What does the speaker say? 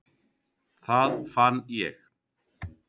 Það fann ég.